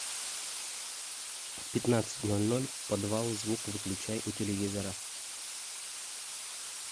в пятнадцать ноль ноль подвал звук выключай у телевизора